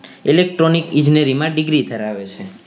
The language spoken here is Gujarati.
Electronic ઇજનેરીમાં degree ધરાવે છે